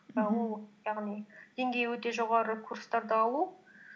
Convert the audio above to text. ііі ол яғни деңгейі өте жоғары курстарды алу